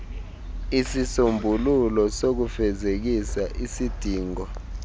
isisombululo sokufezekisa isidingo